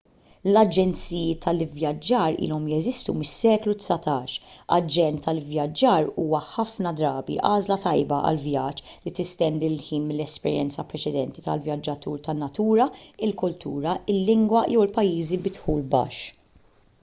l-aġenziji tal-ivvjaġġar ilhom jeżistu mis-seklu 19 aġent tal-ivvjaġġar huwa ħafna drabi għażla tajba għal vjaġġ li jestendi lil hinn mill-esperjenza preċedenti tal-vjaġġatur tan-natura il-kultura il-lingwa jew il-pajjiżi bi dħul baxx